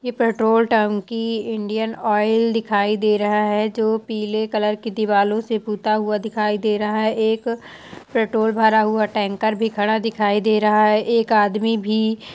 यह पेट्रोल टंकी Indian Oil दिखाई दे रहा है जो की पीले कलर की दिवालाे से पुता हुआ दिखाई दे रहा है एक पेट्रोल भरा हुआ टैंकर भी खड़ा दिखाई दे रहा है एक आदमी भी --